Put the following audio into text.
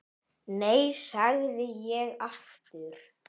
Nei, segi ég aftur.